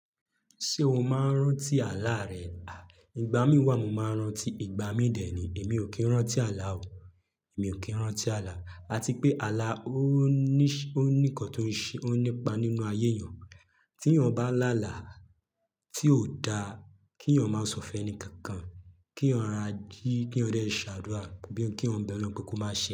Ṣé o máa ń rántí àlà rẹ? À, ìgbà mí wà mo máa ń rántí, ìgbà mí dè é ni. Èmi ò kí ń rántí àlà o. Èmi ò kí ń rántí àlà. A ti pé àlà ó níṣe, ó ní nǹkan tó ń ṣe, ó nípa nínú ayé èèyàn. Tí èèyàn bá làlà tí ò da, kí èèyàn máa sọfẹ́ ni kankan, kí èèyàn ra jí, kí ó rẹ sí àdúrà, bí i kí wọ́n bẹrú, kóko máa ṣe.